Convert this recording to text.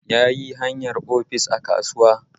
Yayi hayar ofis a kasuwa